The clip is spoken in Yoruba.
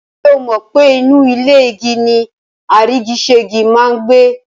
Ṣé o mọ̀ pe inú ilé igi ni àrígiṣẹ́gi máa n gbé?